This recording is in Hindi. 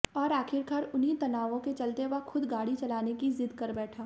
और आखिरकार उन्हीं तनावों के चलते वह खुद गाड़ी चलाने की जिद कर बैठा